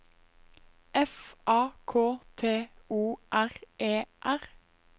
F A K T O R E R